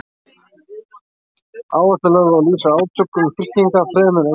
Áhersla er lögð á að lýsa átökum fylkinga fremur en einstaklingum.